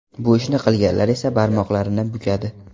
Bu ishni qilganlar esa barmoqlarini bukadi.